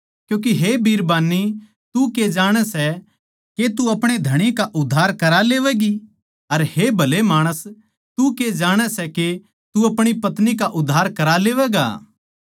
क्यूँके हे बिरबान्नी तू के जाणै सै के तू अपणे धणी का उद्धार करा लेवैगी अर हे भले माणस तू के जाणै सै के तू अपणी पत्नी का उद्धार करा लेवैगा